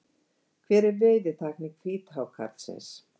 Hver er veiðitækni hvíthákarlsins?